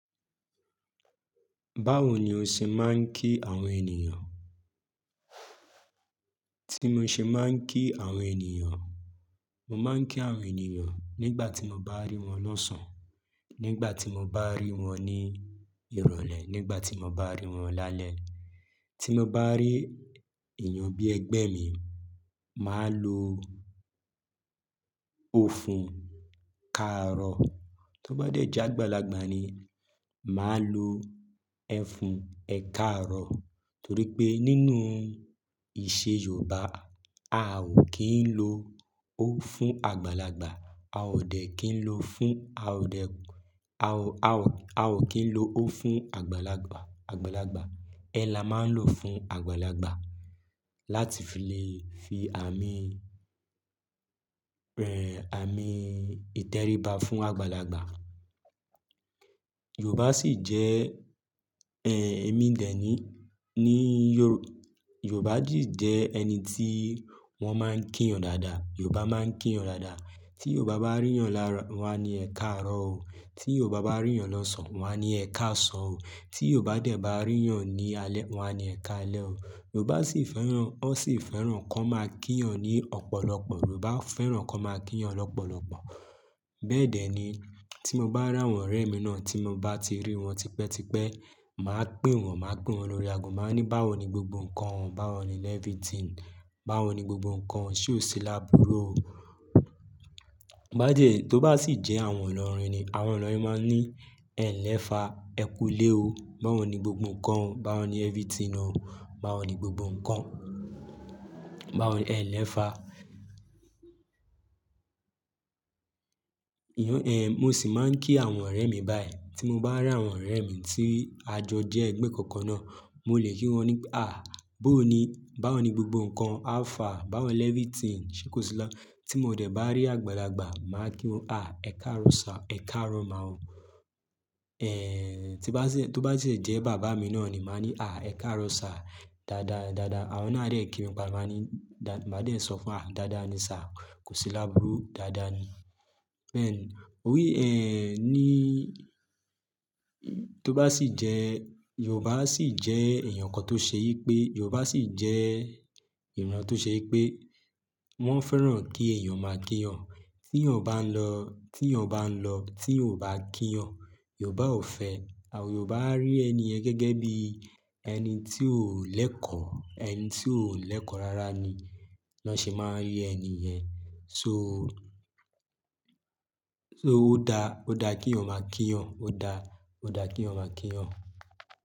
Báwo ni o ṣe máa ń kí àwọn ènìyàn? Bí mo ṣe máa ń kí àwọn ènìyàn, mo máa ń kí àwọn ènìyàn nígbà tí mo bá rí wọn lọ́sàn, nígbà tí mo bá rí wọn ní ìrọ̀lẹ́, nígbà tí mo bá rí wọn lálẹ́. Tí mo bá rí èèyàn bí ẹgbẹ́ mi, màá lo "o fún káàró". Tó bá dẹ̀ je gbàlagbà ni, màá lo "ẹ fún ẹ káàró". Torí pé nínú ìṣe Yorùbá, a ò kí ń lo "o" fún àgbàlagbà. A ò dẹ̀ kí ń lo fún-- a ò dẹ̀-- a ò, a ò, a ò kí ń lo "o" fún àgbàlagbà, àgbàlagbà. "Ẹ" la máa ń lò fún àgbàlagbà láti fi lè fi àmì, ẹ, àmì ìtẹríba fún àgbàlagbà. Yorùbá sì jẹ́, ẹ, èmi dẹ̀ ni, ní Yorù-- Yorùbá sì jẹ́ ẹni tí wọ́n máa ń kí eeyan dáadáa. Yorùbá máa ń kí eeyan dáadáa. Tí Yorùbá bá rí eeyan laáro, won á ní "ẹ káàró o". Tí Yorùbá bá rí eeyan lọ́sàn, won á ní "ẹ káàsán o". Tí Yorùbá dẹ̀ bá rí eeyan ní alẹ́, won á ní "ẹ káalẹ́ o". Yorùbá sì fẹ́ràn-- wọ́n sì fẹ́ràn kí wọ́n máa kí eeyan ní ọ̀pọ̀lọpọ̀. Yorùbá fẹ́ràn kí wọ́n máa kí wọn lọ́pọ̀lọpọ̀. Bẹ́ẹ̀ dẹ́ ni tí mo bá ràwọn ọ̀rẹ́ mi náà tí mo bá ti rí wọn tipẹ́tipẹ́, màá pè wọ́n, màá pè wọ́n lórí ago. Màá ní, "Báwo ni gbogbo nǹkan? Báwo ni everything? Báwo ni gbogbo nǹkan? Sé o ṣí lábúrú o?" Bá jẹ́ tó bá sì jẹ́ àwọn ilọ́rin ni, àwọn ọlọ́rin máa ń ní, "Ẹ̀-nlẹ́fa, ẹ kú lé o. Báwo ni gbogbo nǹkan? Báwo ni everything náà? Báwo ni gbogbo nǹkan? Báwo ni-- ẹ̀-nlẹ́fa." Ìyẹn, ẹ, mo sì máa ń kí àwọn ọ̀rẹ́ mi báyìí. Tí mo bá ràwọn ọ̀rẹ́ mi tí àjọ jẹ́ ẹgbẹ́ kankan náà, mo lè kí wọn ní, "À, bó ni? Báwo ni gbogbo nǹkan? How far? Báwo ni everything? Sé kò sí tí mo dẹ̀ bá rí àgbàlagbà, màá kí wọn, "À, ẹ káàró sa, ẹ káàró má o." Ẹ, tí bá sì-- tó bá sì jẹ́ bàbá mi náà ni, màá ní, "À, ẹ káàró sa. Dada, dada." Wọ́n náà dẹ̀ kí mi padà, màá ní, "Da--", màá dẹ̀ sọ fún wọn, "Dada ni sa. Kò sí lábúrú. Dada ni." Then, òbí, ẹ, ní-- tó bá sì jẹ́-- Yorùbá sì jẹ́ èèyàn kan tó ṣe yí pé-- Yorùbá sì jẹ́ èèyàn tó ṣe yí pé wọ́n fẹ́ràn kí èèyàn máa kí yan. Tí èèyàn bá ń lọ, tí èèyàn bá ń lọ, tí èèyàn kò bá kí yan, Yorùbá ò fẹ́. Àwọn Yorùbá á rí ẹni ẹ̀ gẹ́gẹ́ bí ẹni tí ò lẹ́kọ̀ọ́, ẹni tí ò lẹ́kọ̀ọ́ rárá ni wọ́n ṣé máa rí ẹni ẹ̀. So, so ó da, ó da kí èèyàn máa kí yan. Ó da, ó da kí èèyàn máa kí yan.